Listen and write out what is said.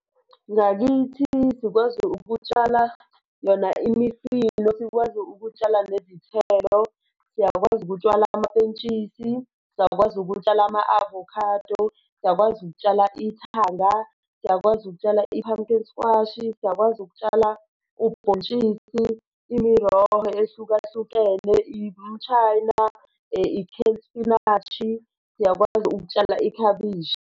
Ngakithi sikwazi ukutshala yona imifino, sikwazi ukutshala nezithelo, siyakwazi ukutshala amapentshisi, siyakwazi ukutshala ama-avocado, siyakwazi ukutshala ithanga, siyakwazi ukutshala i-pumpkin squash-i, siyakwazi ukutshala ubhontshisi i-roll ehlukahlukene, i-cape spinashi, siyakwazi ukutshala ikhabishi.